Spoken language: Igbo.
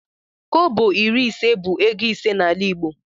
Kobo iri ise bụ ego ise n'ala igbo